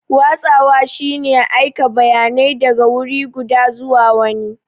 Watsawa shine aika bayanai daga wuri guda zuwa wani.